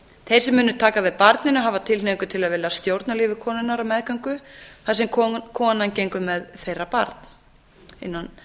þeir sem munu taka við barninu hafa tilhneigingu til að vilja stjórna lífi konunnar á meðgöngunni þar sem konan gengur með þeirra barn mikilvægt er